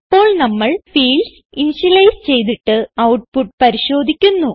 ഇപ്പോൾ നമ്മൾ fields initialise ചെയ്തിട്ട് ഔട്ട്പുട്ട് പരിശോധിക്കുന്നു